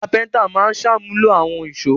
Kápẹ́ńtà máa ń ṣàmúlò àwọn ìṣó.